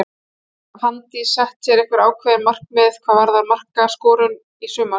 Hefur Fanndís sett sér einhver ákveðin markmið hvað varðar markaskorun í sumar?